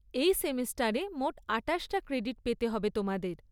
এই সেমেস্টারে মোট আটাশটা ক্রেডিট পেতে হবে তোমাদের।